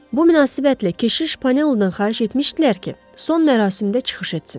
Bu münasibətlə keşiş Pannu-dan xahiş etmişdilər ki, son mərasimdə çıxış etsin.